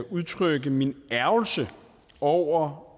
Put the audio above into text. udtrykke min ærgrelse over